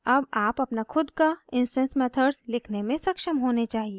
अब आप अपना खुद का इंस्टैंस मेथड्स लिखने में सक्षम होने चाहिए